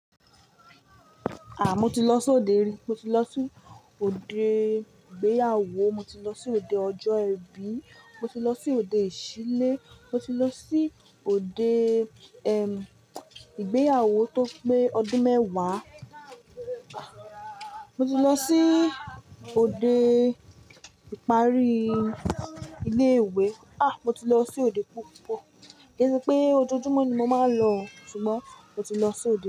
Ah, mo ti lọ sí òde rí, mo ti lọ sí òde ìgbéyàwó, mo ti lọ sí òde ọjọ́ ìbí, mo ti lọ sí òde ìṣílé, mo ti lọ sí òde, ehm, ìgbéyàwó tó pé ọdún mẹ́wàá. Ah, mo ti lọ sí òde ìparí ilé ìwé. Ah, mo ti lọ sí òde púpọ̀. Kẹ́ sẹ́ pé ojoojúmọ́ ni mo máa ń lọ, ṣùgbọ́n mo ti lọ sí òde.